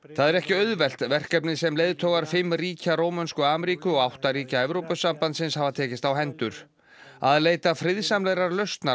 það er ekki auðvelt verkefnið sem leiðtogar fimm ríkja Rómönsku Ameríku og átta ríkja Evrópusambandsins hafa tekist á hendur að leita friðsamlegrar lausnar